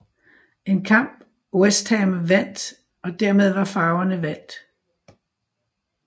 En kamp West Ham vandt og dermed var farverne valgt